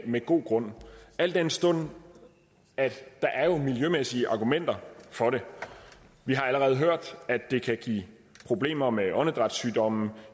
med god grund al den stund at der er miljømæssige argumenter for det vi har allerede hørt at det kan give problemer med åndedrætssygdomme